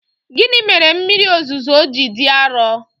Gịnị mere mmiri ozuzo ji dị arọ?